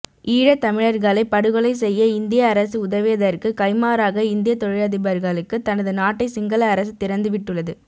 ஈழத் தமிழர்களை படுகொலை செய்ய இந்திய அரசு உதவியதற்கு கைமாறாக இந்தியத் தொழிலதிபர்களுக்கு தனது நாட்டை சிங்கள அரசு திறந்துவிட்டுள்ளது